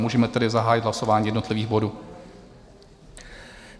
Můžeme tedy zahájit hlasování jednotlivých bodů.